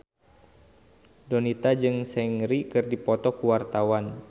Donita jeung Seungri keur dipoto ku wartawan